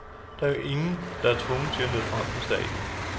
Der er jo ingen, der er tvunget til at til møde frem på stadion.